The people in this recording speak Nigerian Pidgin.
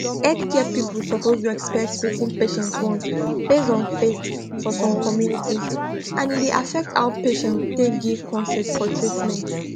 healthcare people suppose respect wetin patients want based on faith for some communities and e dey affect how patients take give consent for treatment